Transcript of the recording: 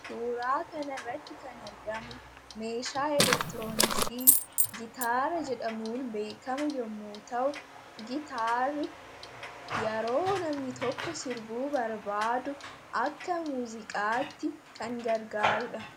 suuraa kana irratti kan argamu meeshaa elektirooniksii gitaara jedhamuun beekamu yemmuu ta'u gitaarri yeroo namni tokko sirbuu barbaadu akka muziqaatti kan gargaaruudha